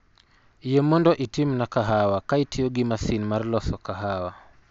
Yie mondo itimna kahawa ka itiyo gi masin mar loso kahawa